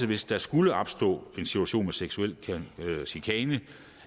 hvis der skulle opstå en situation med seksuel chikane